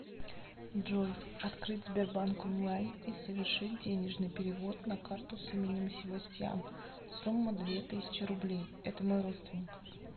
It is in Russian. джой открыть сбербанк онлайн и совершить денежный перевод на карту с именем себастьян сумма две тысячи рублей это мой родственник